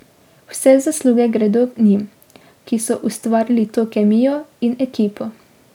Vse zasluge gredo njim, ki so ustvarili to kemijo in ekipo.